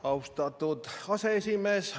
Austatud aseesimees!